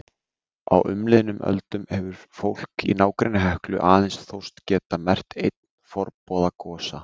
Á umliðnum öldum hefur fólk í nágrenni Heklu aðeins þóst geta merkt einn forboða gosa.